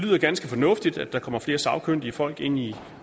lyder ganske fornuftigt at der kommer flere sagkyndige folk ind i